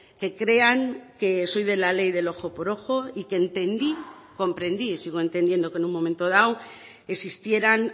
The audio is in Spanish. que crean que soy de la ley del ojo por ojo y que entendí comprendí sigo entendiendo que en un momento dado existieran